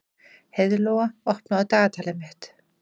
Heiðlóa, opnaðu dagatalið mitt.